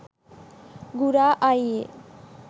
ගුරා අයියේ